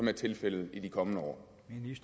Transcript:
er tilfældet i de kommende år